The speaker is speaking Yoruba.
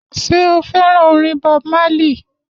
Ṣé o fẹ́ràn orin Bob Marley?